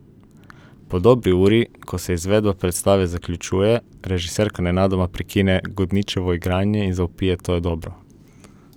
Po dobri uri, ko se izvedba predstave zaključuje, režiserka nenadoma prekine Godničevo igranje in zavpije: "To je dobro!